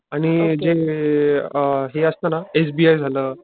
आणि जे अ असं हे असत ना एस बी आय झालं